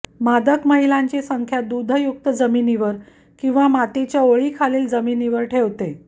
मादक महिलांची संख्या दूधयुक्त जमिनीवर किंवा मातीच्या ओळीखालील जमिनीवर ठेवते